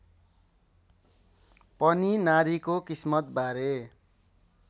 पनि नारीको किस्मतबारे